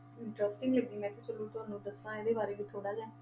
Interesting ਲੱਗੀ, ਮੈਂ ਕਿਹਾ ਚਲੋ ਤੁਹਾਨੂੰ ਦੱਸਾਂ ਇਹਦੇ ਬਾਰੇ ਵੀ ਥੋੜ੍ਹਾ ਜਿਹਾ।